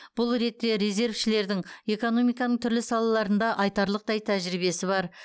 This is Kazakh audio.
бұл ретте резервшілердің экономиканың түрлі салаларында айтарлықтай тәжірибесі бар